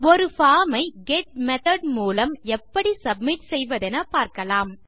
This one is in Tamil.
ஒரு பார்ம் ஐ கெட் மெத்தோட் மூலம் எப்படி சப்மிட் செய்வதென பார்க்கலாம்